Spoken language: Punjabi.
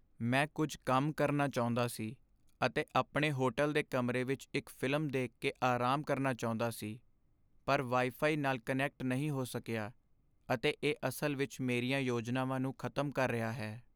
ਮੈਂ ਕੁੱਝ ਕੰਮ ਕਰਨਾ ਚਾਹੁੰਦਾ ਸੀ ਅਤੇ ਆਪਣੇ ਹੋਟਲ ਦੇ ਕਮਰੇ ਵਿੱਚ ਇੱਕ ਫ਼ਿਲਮ ਦੇਖ ਕੇ ਆਰਾਮ ਕਰਨਾ ਚਾਹੁੰਦਾ ਸੀ, ਪਰ ਵਾਈਫਾਈ ਨਾਲ ਕਨੈਕਟ ਨਹੀਂ ਹੋ ਸਕਿਆ, ਅਤੇ ਇਹ ਅਸਲ ਵਿੱਚ ਮੇਰੀਆਂ ਯੋਜਨਾਵਾਂ ਨੂੰ ਖ਼ਤਮ ਕਰ ਰਿਹਾ ਹੈ।